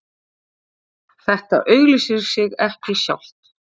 Þetta auglýsir sig sjálft